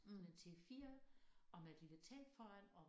Sådan en til 4 og med et lille telt foran og